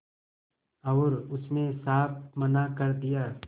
और उसने साफ मना कर दिया